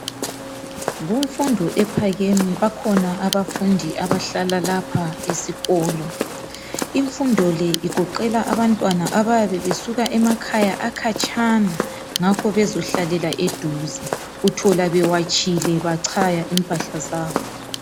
kumfundo ephakeme bakhona abafundi abahlala lapha sikolo imfundo le igoqela abantwana abayabe besuka emakhaya akhatshana ngakho bezohlalela eduze uthola bewatshile bachaya impahla zabo